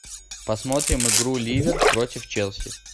посмотрим игру ливер против челси